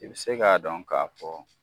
I bɛ se k'a dɔn k'a fɔ